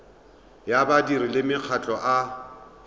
ya badiri le makgotla a